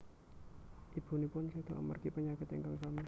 Ibunipun seda amargi penyakit ingkang sami